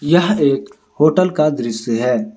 यह एक होटल का दृश्य है।